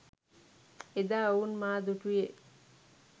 එදා ඔවුන් මා දුටුයේ